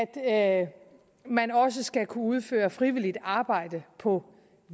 at man også skal kunne udføre frivilligt arbejde på